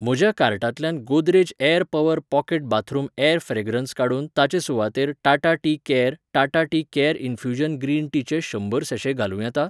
म्हज्या कार्टांतल्यान Godrej air power pocket bathroom air fragrance काडून ताचे सुवातेर Tata tea care, Tata tea care infusion green टीचे शंबर सॅशे घालूं येता?